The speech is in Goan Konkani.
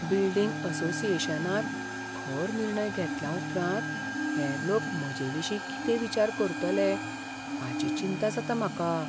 बिल्डींग असोसिएशनांत खर निर्णय घेतल्या उपरांत हेर लोक म्हजेविशीं कितें विचार करतले हाची चिंता जाता म्हाका.